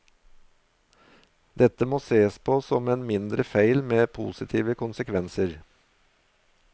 Dette må sees på som en mindre feil med positive konsekvenser.